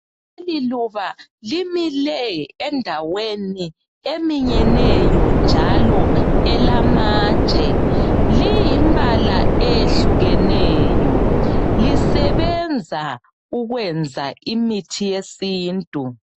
Leliluba mile endaweni eminyeneyo njalo elamatshe , liyimbala eyehlukeneyo lisebenza ukwenza imithi yesintu.